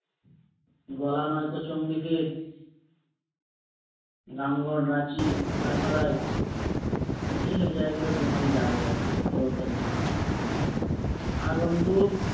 গলা নয়তো চঙ্গি সে এই সব জায়গা গুলো বিমল যাবে আর কি জগদ্দলকে নিয়ে আগন্তুক